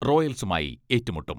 റോയൽസുമായി ഏറ്റുമുട്ടും.